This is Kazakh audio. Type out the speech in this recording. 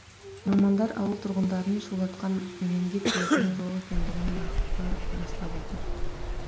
мамандар ауыл тұрғындарын шулатқан менингит дертінің жоқ екендігін нақты растап отыр